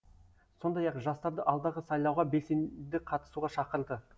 сондай ақ жастарды алдағы сайлауға белсенді қатысуға шақырды